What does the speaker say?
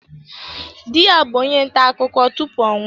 Di ya bụ onye nta akụkọ tupu ọ nwụọ.